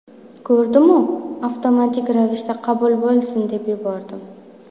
Ko‘rdimu avtomatik ravishda qabul bo‘lsin deb yubordim.